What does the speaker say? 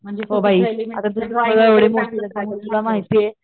म्हणजे तू एलिमेंट्रीला